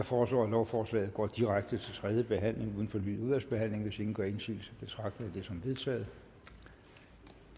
foreslår at lovforslaget går direkte til tredje behandling uden fornyet udvalgsbehandling hvis ingen gør indsigelse betragter jeg dette som vedtaget